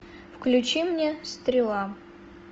включи мне стрела